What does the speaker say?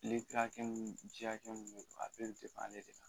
Lili hakɛ mun ji hakɛ mun don a bɛɛ bɛ ale de la